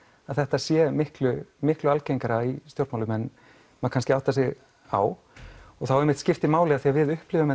að þetta sé miklu miklu algengara í stjórnmálum en maður áttar sig á og þá einmitt skiptir máli ef við upplifum